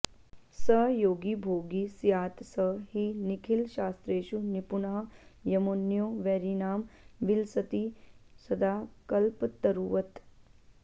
स योगी भोगी स्यात् स हि निखिलशास्त्रेषु निपुणः यमोऽन्यो वैरीणां विलसति सदा कल्पतरुवत्